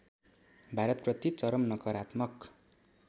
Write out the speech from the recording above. भारतप्रति चरम नकारात्मक